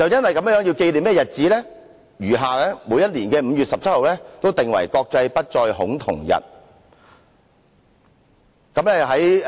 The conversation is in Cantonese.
為紀念這個日子，往後每年的5月17日均定為"國際不再恐同日"。